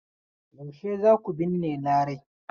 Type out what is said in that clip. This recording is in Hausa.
Yaushe za ku binne Larai?